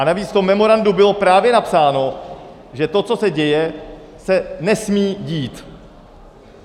A navíc v tom memorandu bylo právě napsáno, že to, co se děje, se nesmí dít.